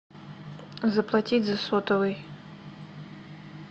заплатить за сотовый